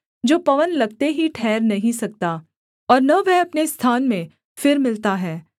जो पवन लगते ही ठहर नहीं सकता और न वह अपने स्थान में फिर मिलता है